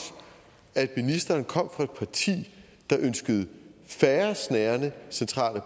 at ministeren kom fra et parti der ønskede færre snærende centrale